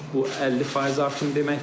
Bu 50% artım deməkdir.